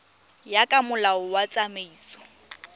ya ka molao wa tsamaiso